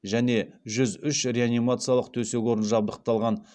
және жүз үш реанимациялық төсек орын жабдықталған